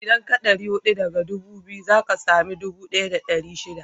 Idan ka ɗari huɗu daga ɗubu biyu, za ka sami ɗubu ɗaya da ɗari shida